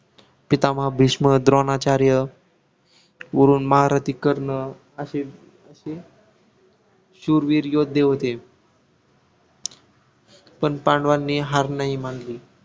पितामह भीष्म द्रोणाचार्य वरून महारथी कर्ण असे असे शूरवीर योद्धे होते पण पांडवांनी हार नाही मानली